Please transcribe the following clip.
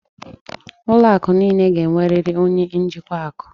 Ụlọ akụ niile ga-enwerịrị onye njikwa akụ.